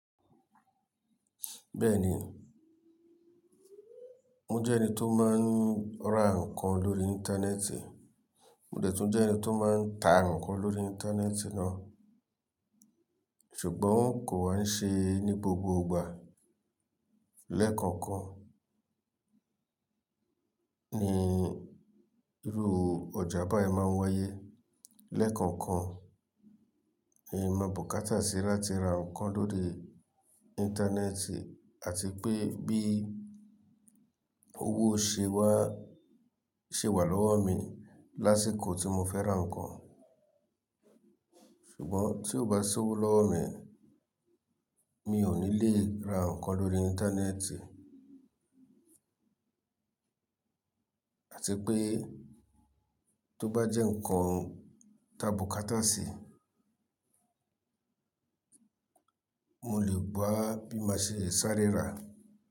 Bẹ́ẹ̀ ni, mo jẹ́ ẹni tó máa ń ra ǹkan lórí Íńtánẹ́ẹ̀tì, mo dẹ̀ tún jẹ́ ẹni tó máa ń ta ǹkan lórí Íńtánẹ́ẹ̀tì náà, ṣùgbọ́n kò wa ń ṣe ní gbogbo ìgbà. Lẹ́ẹ̀kọ̀ọ̀kan ni irú ọjà báyìí máa ń wáyé, lẹ́ẹ̀kọ̀ọ̀kan ni mábu kátàṣí lati ra ǹkan lórí Íńtánẹ́ẹ̀tì àti pé bí owó ṣe wà lọ́wọ́ mi lásìkò tí mo fẹ́ ra ǹkan. Ṣùgbọ́n tí ò bá sowó lọ́wọ́ mi, mi ò ní lè ra ǹkan lórí Íńtánẹ́ẹ̀tì. Àti pé tó bá jẹ́ ǹkan tábu kátàṣí, mo lè wa bí máa ṣe sáré rà.